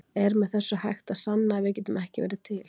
Er með þessu hægt að sanna að við getum ekki verið til?